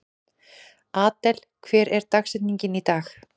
Adel, hver er dagsetningin í dag?